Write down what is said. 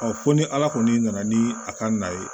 fo ni ala kɔni nana ni a ka na ye